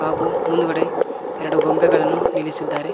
ಹಾಗು ಮುಂದ್ಗಡೆ ಎರಡು ಗೊಂಬೆಗಳನ್ನು ನಿಲ್ಲಿಸಿದ್ದಾರೆ.